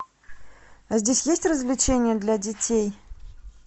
здесь есть развлечения для детей